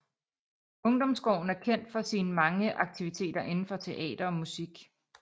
Ungdomsgården er kendt for sine mange aktiviteter indenfor teater og musik